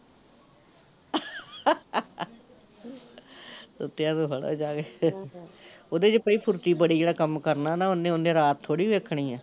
ਸੁੱਤਿਆ ਨੂੰ ਫੜੋ ਜਾਕੇ ਉਹਦੇ ਚ ਬਈ ਫੁਰਤੀ ਬੜੀ, ਜਿਹੜਾ ਕੰਮ ਕਰਨਾ ਨਾ ਉਹਨੇ, ਉਹਨੇ ਰਾਤ ਥੋੜੀ ਵੇਖਣੀ ਐ